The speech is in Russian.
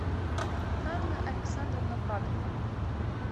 анна александровна бабьева